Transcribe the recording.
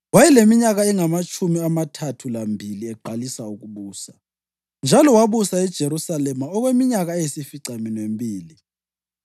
Wayeleminyaka engamatshumi amathathu lambili eqalisa ukubusa, njalo wabusa eJerusalema okweminyaka eyisificaminwembili.